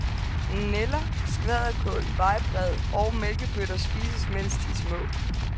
Nælder, skvalderkål, vejbred og mælkebøtter spises medens de er små.